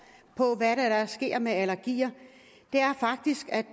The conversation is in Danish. hvad det er der sker med allergier det er faktisk at